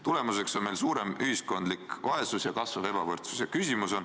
Tulemuseks on suurem ühiskondlik vaesus ja kasvav ebavõrdsus.